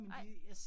Nej